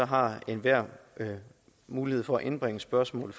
har enhver mulighed for at indbringe spørgsmålet